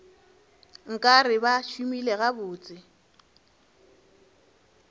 nka re ba šomile gabotse